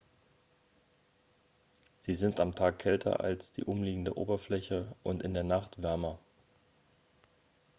"""sie sind am tag kälter als die umliegende oberfläche und in der nacht wärmer.